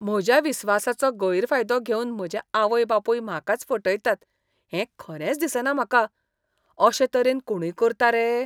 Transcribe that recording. म्हज्या विस्वासाचो गैरफायदो घेवन म्हजे आवय बापूय म्हाकाच फटयतात हें खरेंच दिसना म्हाका. अशे तरेन कोणूय करता रे!